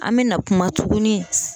An mɛna kuma tugunni